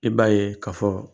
I b'a ye, ka fɔ